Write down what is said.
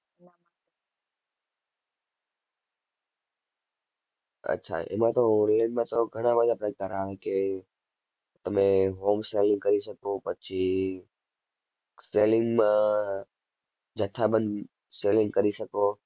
અચ્છા એમાં તો તો ઘણા બધા કરાવે કે તમે home selling કરી શકો પછી selling માં જથ્થાબંધ selling કરી શકો.